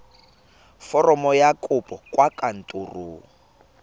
foromo ya kopo kwa kantorong